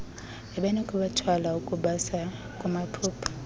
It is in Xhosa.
enokubathwala ukubasa kumaphupha